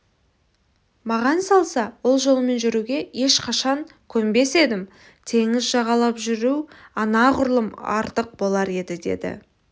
маған салса ол жолмен жүруге ешқашан көнбес едім теңіз жағалап жүру анағұрлым артық болар еді деді